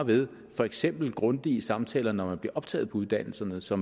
ved for eksempel grundige samtaler når man bliver optaget på uddannelserne så